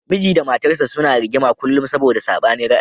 Miji da matarsa ​​suna rigima kullum saboda sabanin ra'ayi.